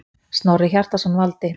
Snorri Hjartarson valdi.